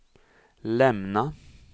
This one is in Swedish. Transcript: lämna